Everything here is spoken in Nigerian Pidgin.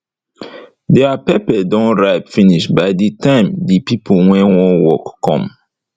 deir pepper don ripe finish by de time de pipo wey wan work come